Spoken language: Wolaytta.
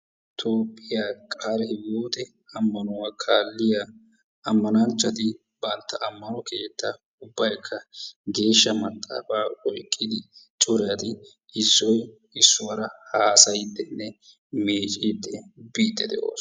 Toophiya qaalihiwote ammanuwaa kaalliyaa ammananchchati bantta ammanuwaa keettaa ubbaykka geeshsha maxaaafa oyqqidi corati issoy issuwaara hassayyidenne miiccidi biidi de'oosona.